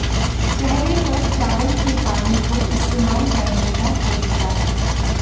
चेहरे पर चावल के पानी को इस्तेमाल करने का तरीका